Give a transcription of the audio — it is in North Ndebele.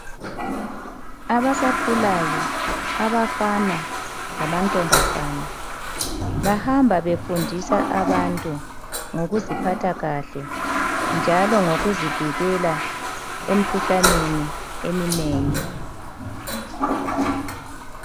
Abasakhulayo abafana lamantombazana bahamba befundisa abantu ngokuziphatha kahle njalo ngokuzivikela emikhuhlaneni eminengi.